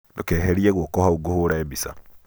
ndũkeherie guoko hau ngũhũre mbica